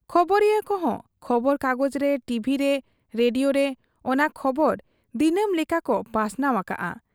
ᱠᱷᱚᱵᱚᱨᱤᱭᱟᱹ ᱠᱚᱦᱚᱸ ᱠᱷᱚᱵᱚᱨᱠᱟᱜᱚᱡᱽ ᱨᱮ, ᱴᱤᱵᱷᱤᱨᱮ, ᱨᱮᱰᱤᱭᱳᱨᱮ ᱚᱱᱟ ᱠᱷᱚᱵᱚᱨ ᱫᱤᱱᱟᱹᱢ ᱞᱮᱠᱟᱠᱚ ᱯᱟᱥᱱᱟᱣ ᱟᱠᱟᱜ ᱟ ᱾